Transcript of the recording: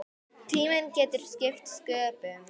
Tíminn getur skipt sköpum.